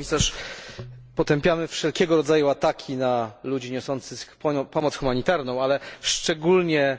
Pani Komisarz! Potępiamy wszelkiego rodzaju ataki na ludzi niosących pomoc humanitarną, ale szczególnie